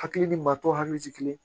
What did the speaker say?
Hakili ni maa tɔw hakili ti kelen ye